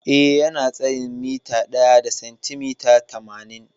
Eh, Yana da tsayin mita ɗaya da sentimita tamanin.